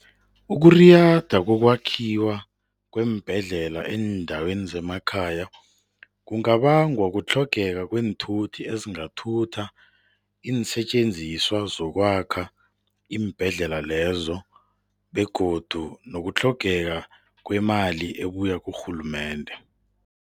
Ukuriyada kokwakhiwa kweembhedlela eendaweni zemakhaya kungabangwa kutlhogeka kweenthuthi ezingathutha iinsetjenziswa zokwakha iimbhedlela lezo begodu nokutlhogeka kwemali ebuya kurhulumende.